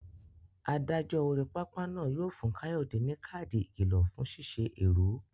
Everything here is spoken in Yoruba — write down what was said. Adájọ́ orí pápá náà yóò fún Kayode ní káàdì ìkìlọ̀ fún ṣíṣe èrú.